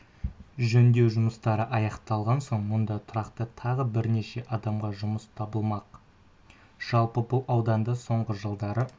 жөндеу жұмыстары аяқталған соң мұнда тұрақты тағы бірнеше адамға жұмыс табылмақ жалпы бұл ауылда соңғы жылдары